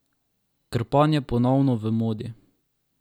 Krpan je ponovno v modi.